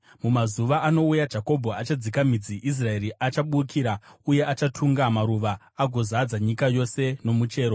Mumazuva anouya, Jakobho achadzika midzi, Israeri achabukira uye achatunga maruva, agozadza nyika yose nomuchero,